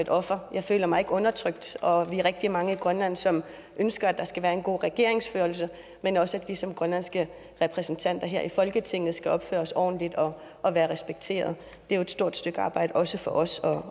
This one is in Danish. et offer jeg føler mig ikke undertrykt og vi er rigtig mange i grønland som ønsker at der skal være en god regeringsførelse men også at vi som grønlandske repræsentanter her i folketinget skal opføre os ordentligt og være respekteret det er jo et stort stykke arbejde også for os